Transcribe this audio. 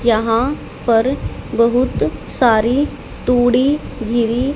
यहाँ पर बहुत सारी तुड़ी गिरी--